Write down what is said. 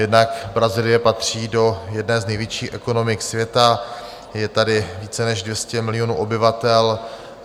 Jednak Brazílie patří do jedné z největších ekonomik světa, je tady více než 200 milionů obyvatel.